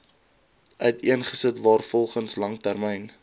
uiteensit waarvolgens langtermyn